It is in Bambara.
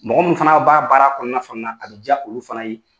Mɔgɔ munnu fana b'a baara kɔnɔna fana na a bɛ diya olu fana ye